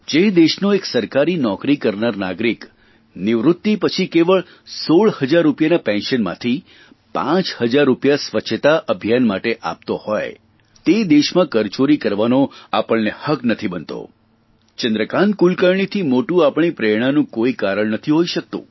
જે દેશનો એક સરકારી નોકરી કરનાર નાગરિક નિવૃત્તિ પછી કેવળ 16 હજાર રૂપિયાના પેન્શનમાંથી પાંચ હજાર રૂપાય સ્વચ્છતા અભિયાન માટે આપતો હોય તે દેશમાં કરચોરી કરવાનો આપણને હક્ક નથી બનતો ચંદ્રકાન્ત કુલકર્ણીથી મોટું આપણી પ્રેરણાનું કોઇ કારણ નથી હોઇ શકતું